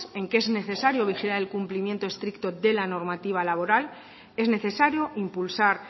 en que es necesario vigilar el cumplimiento estricto de la normativa laboral es necesario impulsar